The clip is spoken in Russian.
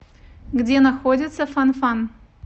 где находится фан фан